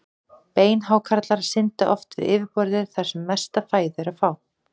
Beinhákarlar synda oft við yfirborðið þar sem mesta fæðu er að fá.